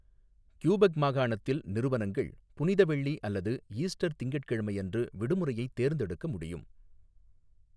Quebec மாகாணத்தில், 'நிறுவனங்கள் புனித வெள்ளி அல்லது ஈஸ்டர் திங்கட்கிழமை அன்று விடுமுறையைத் தேர்ந்தெடுக்க முடியும்'.